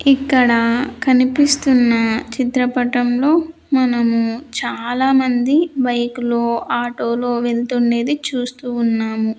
ఇక్కడ కనిపిస్తున్న చిత్రపటంలో మనము చాలామంది బైకు లో ఆటోలు వెళ్తుండేది చూస్తూ ఉన్నాము.